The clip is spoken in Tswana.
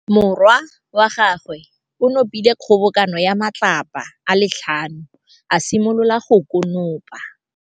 Morwa wa gagwe o nopile kgobokanô ya matlapa a le tlhano, a simolola go konopa.